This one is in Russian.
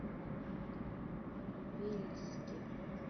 вельске